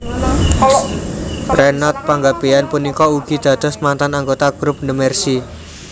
Reynold Panggabean punika ugi dados mantan anggota group The Mercy